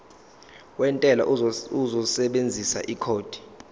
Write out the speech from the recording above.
wentela uzosebenzisa ikhodi